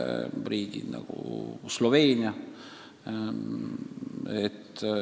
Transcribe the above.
Sama mure on näiteks Sloveenial.